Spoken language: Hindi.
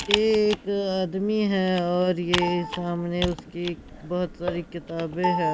ये एक आदमी है और ये सामने उसकी बहोत सारी किताबें है।